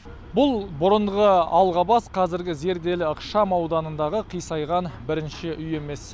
бұл бұрынғы алғабас қазіргі зерделі ықшамауданындағы қисайған бірінші үй емес